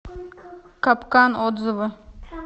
капкан отзывы